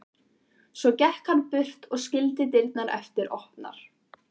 Svo gekk hann burt og skildi dyrnar eftir opnar.